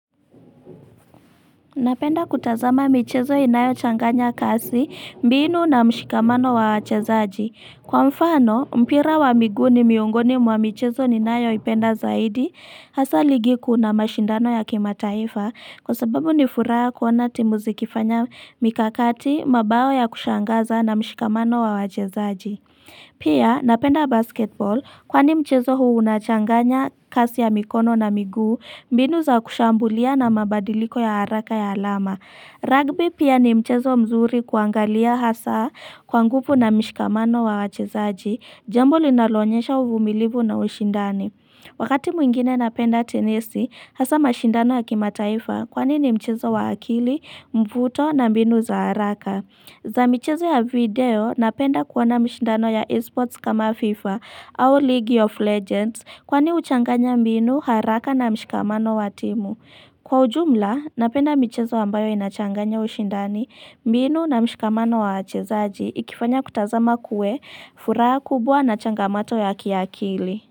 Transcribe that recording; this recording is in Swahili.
Napenda kutazama michezo inayochanganya kasi, mbinu na mshikamano wa wachezaji. Kwa mfano, mpira wa migu ni miongoni mwa michezo ninayo ipenda zaidi, hasa ligi kuu na mashindano ya kimataifa, kwa sababu ni furaha kuona timu zikifanya mikakati, mabao ya kushangaza na mshikamano wa wachezaji. Pia, napenda basketball, kwani mchezo huu unachanganya kasi ya mikono na miguu, mbinu za kushambulia na mabadiliko ya haraka ya alama Rugby pia ni mchezo mzuri kuangalia hasa kwa nguvu na mishikamano wa wachezaji. Jambo linaloonyesha uvumilibu na ushindani Wakati mwingine napenda tenisi, hasa mashindano ya kimataifa Kwani ni mchezo wa akili, mvuto na mbinu za haraka za michezo ya video, napenda kuona mshindano ya esports kama FIFA au League of Legends Kwani huchanganya mbinu, haraka na mshikamano wa timu. Kwa ujumla, napenda michezo ambayo inachanganya ushindani, mbinu na mshikamano wa wachezaji ikifanya kutazama kuwe furaha kubwa na changamoto ya kiakili.